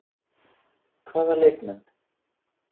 Hvaða leikmenn?